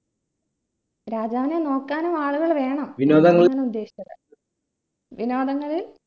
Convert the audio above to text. രാജാവിനെ നോക്കാനും ആളുകൾ വേണം ഞാൻ ഉദ്ദേശിച്ചത് വിനോദങ്ങള്